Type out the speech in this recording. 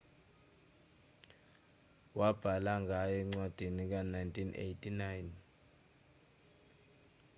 wabhala ngaye encwadini ka-1998